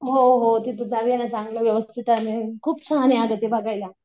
हो हो तिथं जाऊया ना चांगलं व्यवस्थित आहे खूप छान आहे अगं ते बघायला.